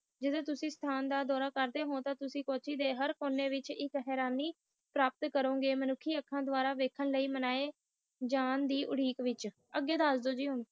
ਜੋੜੋ ਤੁਸੀ ਕੋਚੀ ਦਾ ਡੋਰਾ ਕਰਦੇ ਹੋ ਤਾ ਤੁਸੀ ਇਕ ਹਾਰਨੀ ਪ੍ਰਾਪਤ ਕਰੋ ਗੇ ਮੁਨਿਕਹਿ ਅੱਖਾਂ ਦੇਵੜਾ ਮਨਾਈ ਜਾਨ ਦੇ ਉਡੀਕ ਵਿਚ ਅਗੈ ਦਸ ਦੋ ਕਿ ਹੁਣ